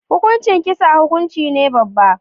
Hukuncin kisa hukunci ne babba.